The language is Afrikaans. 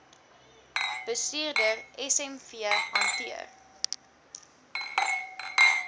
bestuurder smv hanteer